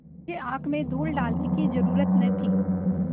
मुझे आँख में धूल डालने की जरुरत न थी